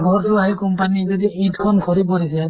ঘৰতো আহি company যদি ইট খন সৰি পৰিছে